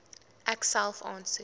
ek self aansoek